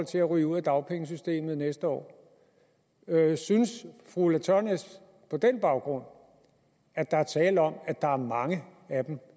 til at ryge ud af dagpengesystemet næste år synes fru ulla tørnæs på den baggrund at der er tale om at der er mange af dem